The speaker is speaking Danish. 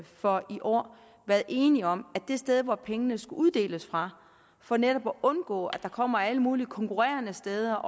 for i år været enige om at det sted hvor pengene skulle uddeles fra for netop at undgå at der kommer alle mulige konkurrerende steder